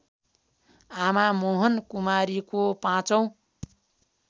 आमा मोहनकुमारीको पाँचौँ